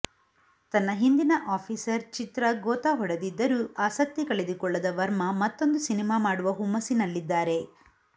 ತನ್ನ ಹಿಂದಿನ ಆಫೀಸರ್ ಚಿತ್ರ ಗೋತಾ ಹೊಡೆದಿದ್ದರೂ ಆಸಕ್ತಿ ಕಳೆದುಕೊಳ್ಳದ ವರ್ಮಾ ಮತ್ತೊಂದು ಸಿನಿಮಾ ಮಾಡುವ ಹುಮ್ಮಸ್ಸಿನಲ್ಲಿದ್ದಾರೆ